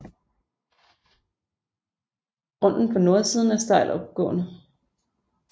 Grunden på nordsiden er stejl opgående